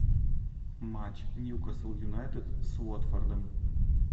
матч ньюкасл юнайтед с уотфордом